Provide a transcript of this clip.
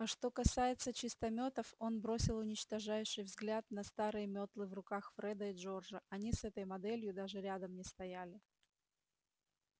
а что касается чистометов он бросил уничтожающий взгляд на старые метлы в руках фреда и джорджа они с этой моделью даже рядом не стояли